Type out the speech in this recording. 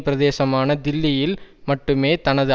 பிரதேசமான தில்லியில் மட்டுமே தனது